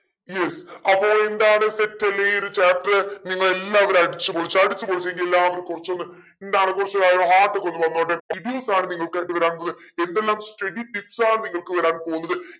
ല്ലേ അപ്പൊ എന്താണ് set അല്ലെ ഈ ഒരു chapter നിങ്ങളെല്ലാവരും അടിച്ചുപൊളിച്ചു അടിച്ചുപൊളിച്ചെങ്കിൽ എല്ലാവരും കുറച്ചൊന്ന് എന്താണ് കുറച്ചു ഏർ heart ഒക്കെ ഒന്ന് വന്നോട്ടെ ആണ് നിങ്ങൾക്ക് അടുത്ത വരാനുള്ളത് എന്തെല്ലാം study tips ആണ് നിങ്ങൾക്ക് വരാൻ പോകുന്നത്